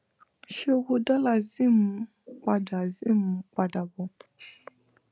ṣé owó dọlà zim n padà zim n padà bo